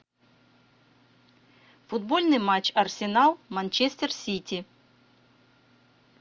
футбольный матч арсенал манчестер сити